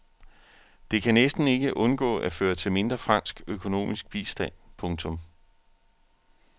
Det kan næsten ikke undgå at føre til mindre fransk økonomisk bistand. punktum